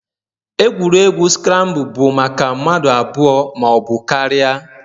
Egwuregwu scrambled bụ maka mmadụ abụọ ma ọ bụ karịa